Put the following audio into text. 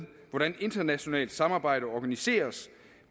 hvordan internationalt samarbejde organiseres